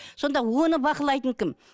сонда оны бақылайтын кім